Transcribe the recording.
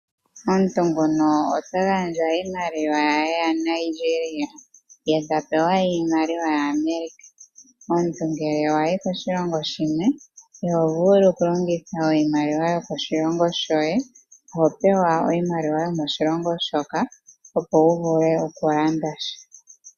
Omuntu nguno ota gandja iimaliwa yaNigeria, ye ta pewa iimaliwa ya America. Omuntu ngele wayi koshilongo shimwe iho vulu okulongitha iimaliwa yo koshilongo shoye. Oho pewa iimaliwa yo moshilongo shoka, opo wu vule okulanda sha.